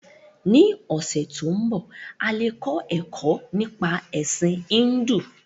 Ní ọ̀sẹ to nbọ, a le kọ ẹkọ nípa Ẹ̀sin Híndù.